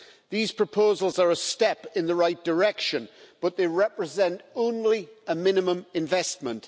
These proposals are a step in the right direction, but they represent only a minimum investment.